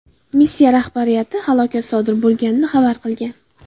Missiya rahbariyati halokat sodir bo‘lganligini xabar qilgan.